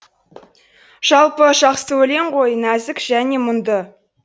жалпы жақсы өлең ғой нәзік және мұңды